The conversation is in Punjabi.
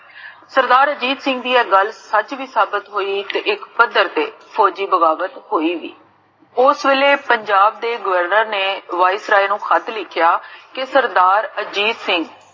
ਸਰਦਾਰ ਅਜੀਤ ਸਿੰਘ ਜੀ ਦੀ ਇਹ ਗਲ ਸਚ ਵੀ ਸਾਬਤ ਹੋਈ ਤੇ ਇਕ ਪੱਦਰ ਤੇ ਫੋੱਜੀ ਬਗਾਵਤ ਹੋਈ ਵੀ ਓਸ ਵੇਲੇ ਪੰਜਾਬ ਦੇ governor ਨੇ viceroy ਨੂੰ ਖਤ ਲਿਖਿਆ, ਕਿ ਸਰਦਾਰ ਅਜੀਤ ਸਿੰਘ